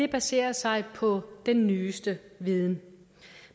baserer sig på den nyeste viden